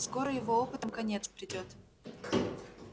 скоро его опытам конец придёт